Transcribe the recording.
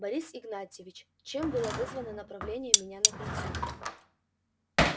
борис игнатьевич чем было вызвано направление меня на кольцо